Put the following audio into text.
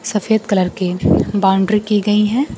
सफेद कलर के बाउंड्री की गई है।